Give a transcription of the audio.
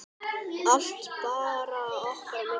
Allt bara okkar á milli.